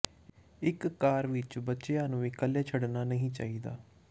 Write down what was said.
ਇੱਕ ਕਾਰ ਵਿੱਚ ਬੱਚਿਆਂ ਨੂੰ ਇਕੱਲੇ ਛੱਡਣਾ ਨਹੀਂ ਚਾਹੀਦਾ